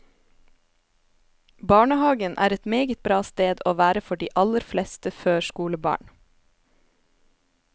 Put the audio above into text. Barnehagen er et meget bra sted å være for de aller fleste førskolebarn.